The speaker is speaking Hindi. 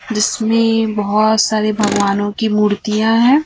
जिसमें बहोत सारे भगवान की मूर्तियां है।